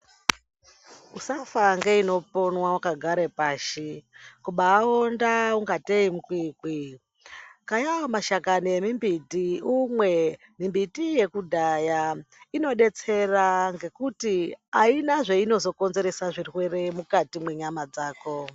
Usafa ngeinoponwa wakagare pashi kubaawonda ungatei mukwiikwii. Kayawo mashakani embiti umwe. Mimbiti yekudhaya inodetsera ngekuti haina zveinozokonzeresa zvirwere mukati mwenyama dzako.